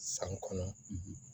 San kɔnɔ